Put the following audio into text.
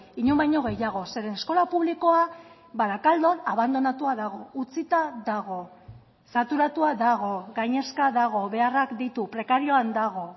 inon baino gehiago zeren eskola publikoa barakaldon abandonatua dago utzita dago saturatua dago gainezka dago beharrak ditu prekarioan dago